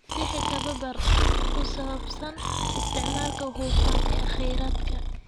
Bixi tababar ku saabsan isticmaalka hufan ee kheyraadka.